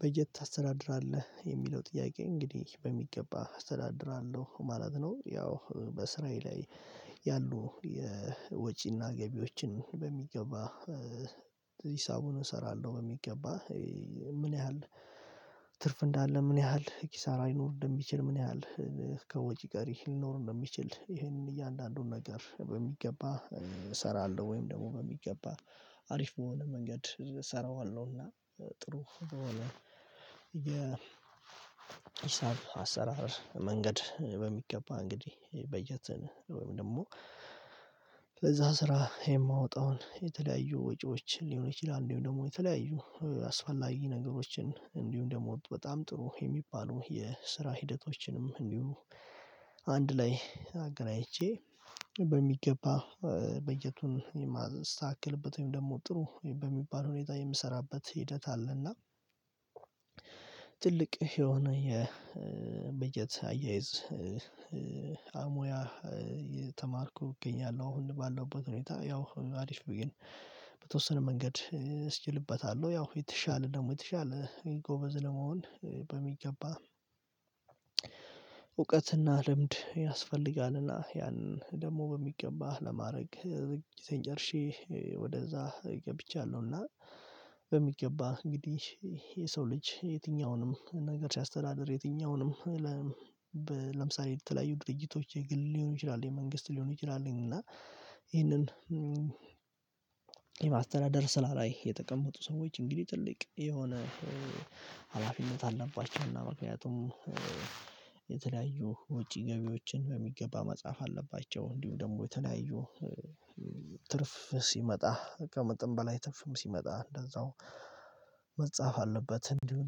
በጀት ታስተዳድራለህ የሚለው ጥያቄ እንግዲህ በሚገባ አስተዳድራለሁ ማለት ነው። ያው በስራዬ ላይ ያሉ የወጪና ገቢዎችን በሚገባ ሂሳቡን እሰራለሁ። በሚገባ ምን ያህል ትርፍ እንዳለ ምን ያህል ኪሳራ ሊኖር እንደሚችል ምን ያህል ከወጪ ቀሪ ሊኖር እንደሚችል ይሄንን እያንዳንዱን ነገር በሚገባ እሰራለሁ። ወይም ደግሞ በሚገባ አሪፍ በሆነ መንገድ እሰራዋለሁና። ጥሩ የሂሳብ አሰራር መንገድ በሚገባ እንግዲህ በጀትን ወይም ደግሞ ለዛ ስራ የማወጣውን የተለያዩ ወጪዎችን ሊሆን ይችላል እንዲሁም ደግሞ የተለያዩ አስፈላጊ ነገሮችን እንዲሁም ደግሞ በጣም ጥሩ የሚባሉ የስራ ሂደቶችንም እንዲሁ አንድ ላይ አገናኝቼ በሚገባ በጀቱን የማስተካክልበት ወይም ደግሞ ጥሩ በሚባል ሁኔታ የምሰራበት ሂደት አለና። ትልቅ የሆነ የበጀት አያይዝ አሙያ የተማርኩ እገኛለሁ። አሁን ባለውበት ሁኔታ ያው አሪፍ ግን በተወሰነ መንገድ እስኪልበታለሁ ያው የተሻለ ደግሞ የተሻለ ጎበዝ ለመሆን በሚገባ እውቀትና ልምድ ያስፈልጋልና። ያን ደግሞ በሚገባህ ለማረግ ዝግጅቴን ጨርሼ ወደዛ ገብቻለሁና። በሚገባ እንግዲህ የሰው ልጅ የትኛውንም ነገር ሲያስተዳድር የትኛውንም ለምሳሌ የተለያዩ ድርጅቶች የግል ሊሆኑ ይችላል የመንግስት ሊሆን ይችላሉ እና ይህንን የማስተዳደር ስራ ላይ የተቀመጡ ሰዎች እንግዲህ ትልቅ የሆነ ሀላፊነት አለባቸው። እና ምክንያቱም ወጪ ገቢዎችን በሚገባ መጽሐፍ አለባቸው እንዲሁ ደግሞ የተለያዩ ትርፍ ሲመጣ ከመጠን በላይ ትርፍም ሲመጣ እንደዛው መጻፍ አለበት። እንዲሁም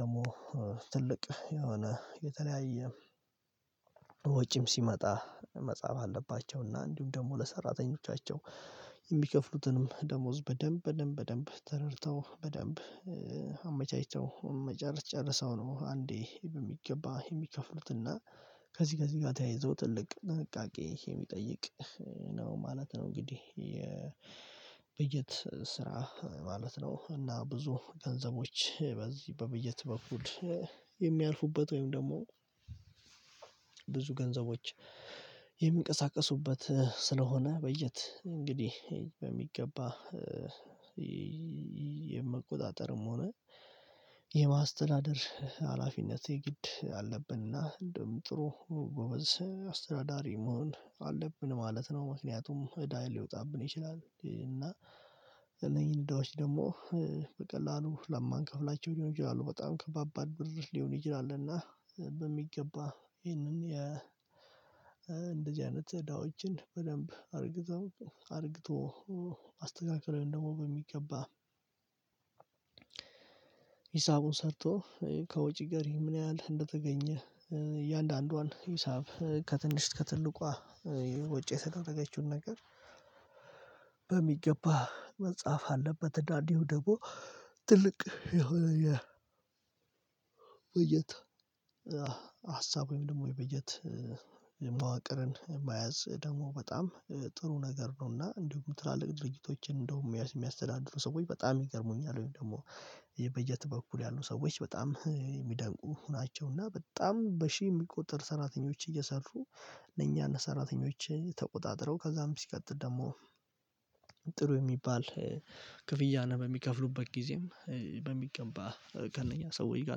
ደግሞ ትልቅ የሆነ የተለያየ ወጪም ሲመጣ መጽሐፍ አለባቸው እና እንዲሁም ደግሞ ለሰራተኞቻቸው የሚከፍሉትንም ደሞዝ በደንብ በደንብ በደንብ ተረድተው በደንብ አመቻችተው መጨረስ ጨርሰው ነው። አንዴ በሚገባ የሚከፍሉትና ከዚህ ከዚህ ጋር ተያይዞ ትልቅ ጥንቃቄ የሚጠይቅ ነው ማለት ነው። እንግዲህ የበጀት ስራ ማለት ነው። እና ብዙ ገንዘቦች በዚህ በበጀት በኩል የሚያልፉበት ወይም ደግሞ ብዙ ገንዘቦች የሚንቀሳቀሱበት ስለሆነ በጀት እንግዲህ በሚገባ። የመቆጣጠርም ሆነ የማስተዳደር ሀላፊነት የግድ አለብንና እንደውም ጥሩ ጎበዝ አስተዳዳሪ መሆን አለብን ማለት ነው። ምክንያቱም እዳ ሊወጣብን ይችላል እና እነኚን እዳዎች ደግሞ በቀላሉ ለማንከፍላቸው ሊሆኑ ይችላሉ በጣም ከባባድ ብር ሊሆን ይችላል። እና በሚገባ ይህንን የ እንደዚህ አይነት እዳዎችን በደንብ አርግቶ አርግቶ አስተካክለን ደግሞ በሚገባ። ሂሳቡን ሰርቶ ከወጪ ጋር ምን ያህል እንደተገኘ እያንዳንዷን ሂሳብ ከትንሽ ከትልቋ ወጪ የተደረገችውን ነገር መጻፍ አለበት። እና እንዲሁም ደግሞ ትልቅ የሆነ ውይይት ሀሳብ ወይም ደግሞ የበጀት መዋቅርን መያዝ ደግሞ በጣም ጥሩ ነገር ነውና። እንዲሁም ትላልቅ ድርጅቶችን እንደውም የሚያስተዳድሩ ሰዎች በጣም ይገርሙኛል። ወይም ደግሞ የበጀት በኩል ያሉ ሰዎች በጣም የሚደንቁ ናቸው። እና በጣም በሺህ የሚቆጠር ሰራተኞች እየሰሩ እነኛን ሰራተኞችን ተቆጣጥረው ከዛም ሲቀጥል ደግሞ ጥሩ የሚባል ክፍያ ነው በሚከፍሉበት ጊዜም በሚገባ ከነኛ ሰዎች ጋር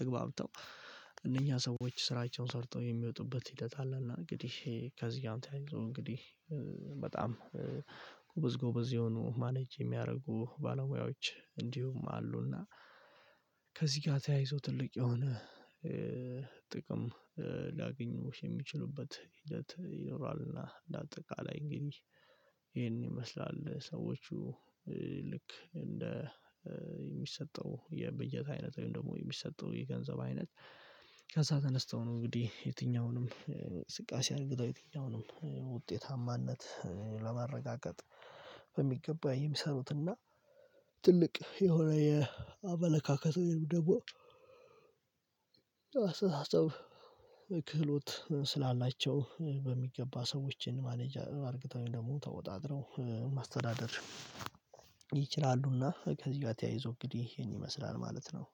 ተግባብተው እነኛ ሰዎች ስራቸውን ሰርተው የሚወጡበት ሂደት አለ። እና እንግዲህ ከዚህ ጋር ተያይዞ እንግዲህ በጣም ጎበዝ ጎበዝ የሆኑ ማኔጅ የሚያደርጉ ባለሙያዎች እንዲሁም አሉና። ከዚህ ጋር ተያይዞ ትልቅ የሆነ ጥቅም ሊያገኙ የሚችሉበት ሂደት ይኖራልና። ለአጠቃላይ እንግዲህ ይሄን ይመስላል ሰዎቹ ልክ እንደ የሚሰጠው የበጀት አይነት ወይም ደግሞ የሚሰጠው የገንዘብ አይነት ከዛ ተነስተው ነው እንግዲህ የትኛውንም እንቅስቃሴ አድርግተው የትኛውንም ውጤታማነት ለማረጋገጥ በሚገባ የሚሰሩትና። ትልቅ የሆነ የአመለካከት ወይም ደግሞ አስተሳሰብ ክህሎት ስላላቸው በሚገባ ሰዎችን ማኔጅ አርገተው ወይም ደግሞ ተቆጣጥረው ማስተዳደር ይችላሉና። ከዚህ ጋር ተያይዞ እንግዲህ ይሄን ይመስላል ማለት ነው።